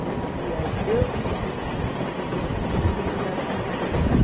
Ela dizia, Deus não me deu os fi não me deu filhos para eu cuidar dos filhos dos outros.